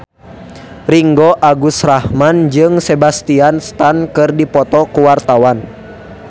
Ringgo Agus Rahman jeung Sebastian Stan keur dipoto ku wartawan